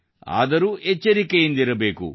ಆದರೂ ಎಚ್ಚರಿಕೆಯಿಂದಿರಬೇಕು